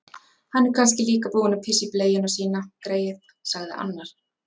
Hann er kannski líka búinn að pissa í bleiuna sína, greyið, sagði annar.